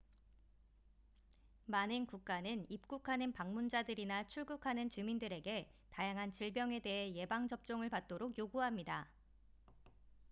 많은 국가는 입국하는 방문자들이나 출국하는 주민들에게 다양한 질병에 대해 예방 접종을 받도록 요구합니다